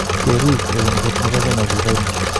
Keriik. Lewenisheet nepo kenya ko kipo imanda.